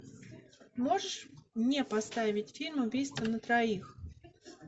можешь мне поставить фильм убийство на троих